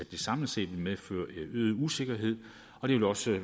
det samlet set vil medføre øget usikkerhed og det vil også